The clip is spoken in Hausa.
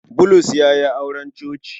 Bulus ya yi auren coci.